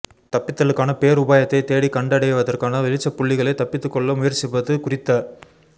தப்பித்தலுக்கான பேருபாயத்தைத் தேடிக் கண்டடைவதற்கான வெளிச்சப் புள்ளிகளே தப்பித்துக்கொள்ள முயற்சிப்பது குறித்த